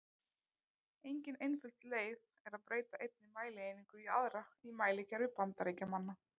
Engin einföld leið er að breyta einni mælieiningu í aðra í mælikerfi Bandaríkjamanna.